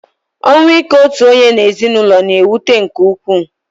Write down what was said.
Ọnwụ ike otu onye n'ezinụlọ na-ewute nke ukwu